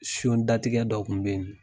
Siyon datigɛ dɔ kun be yen in